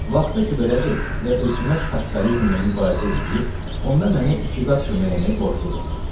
Vaxta ki belədir və hökumət kapitalizmlə mübarizə eləyir, onda mənə hökumət kömək eləməyə borcludur.